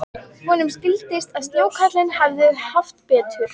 Honum skildist að snjókarlinn hefði haft betur.